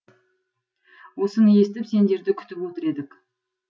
осыны естіп сендерді күтіп отыр едік